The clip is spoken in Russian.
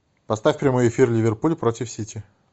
поставь прямой эфир ливерпуль против сити